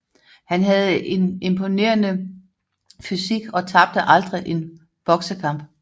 Han havde en imponerende fysik og tabte aldrig en boksekamp